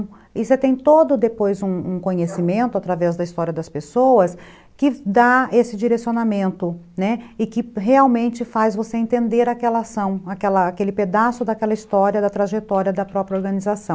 E você tem todo depois um um conhecimento através da história das pessoas que dá esse direcionamento, né, e que realmente faz você entender aquela ação, aquele pedaço daquela história, da trajetória da própria organização.